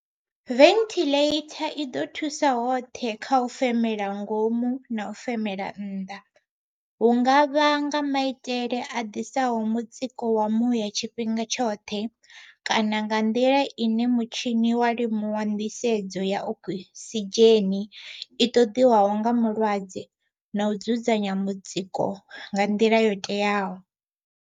Venthiḽeitha i ḓo thusa hoṱhe kha u femela ngomu na u femela nnḓa, hu nga vha nga maitele a ḓisaho mutsiko wa muya tshifhinga tshoṱhe kana nga nḓila ine mutshini wa limuwa nḓisedzo ya okisidzheni i ṱoḓiwaho nga mulwadze na u dzudzanya mutsiko nga nḓila yo teaho.